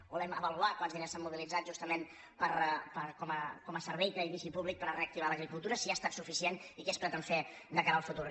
volem avaluar quants di·ners s’han mobilitzat justament com a servei creditici públic per reactivar l’agricultura si ha estat suficient i què es pretén fer de cara al futur